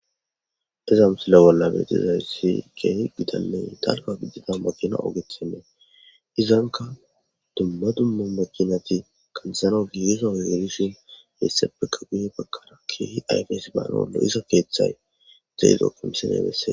Ta misile bolla beyizays keehippe gitanne dalga gidida makina ogetnne izanka dumma dumma makinat kanthanaw gugiza oge gidishn hesappeka guya bagara keeh ayfes banaw lo'iza kethay dizo ha misiley beses.